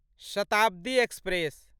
Shatabdi express